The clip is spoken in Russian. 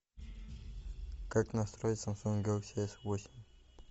как настроить самсунг галакси с восемь